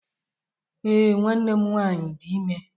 Ee, nwanne m nwanyị dị ime